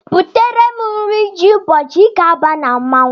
Butere m nri ji ụbọchị I ga-aba na mmọnwụ!